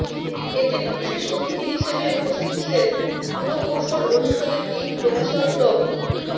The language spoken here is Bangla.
এতে বিশেষ অতিথি হিসেবে উপস্থিত ছিলেন পুরকৌশল অনুষদের ডীন প্রফেসর ড